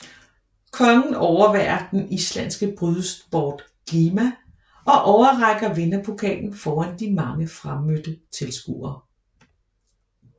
Kongen overværer den islandske brydesport glima og overrækker vinderpokalen foran de mange fremmødte tilskuere